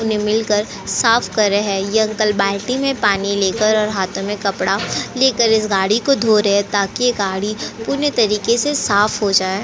मिलकर साफ कर रहे है ये अंकल बाल्टी में पानी लेकर हातों मे कपड़ा लेकर इस गाड़ी को धो रहे है ताकि ये गाड़ी पूर्ण तरीके से साफ हो जाये।